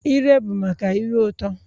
Ire bụ maka ire ụtọ